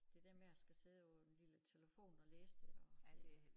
Det der med at skal sidde på en lille telefon og læse det og det